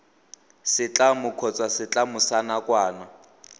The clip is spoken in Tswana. setlamo kgotsa setlamo sa nakwana